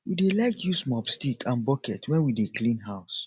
we dey like use mop stick and bucket wen we dey clean house